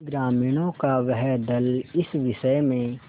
ग्रामीणों का वह दल इस विषय में